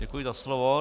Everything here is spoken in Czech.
Děkuji za slovo.